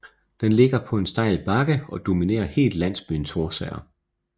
Den ligger på en stejl bakke og dominerer helt landsbyen Thorsager